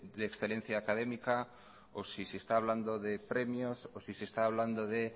de excelencia académica o si se está hablando de premios o si se está hablando de